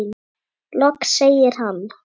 Loks segir hann